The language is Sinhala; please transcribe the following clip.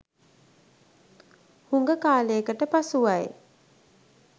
හුඟ කාලයකට පසුවයි.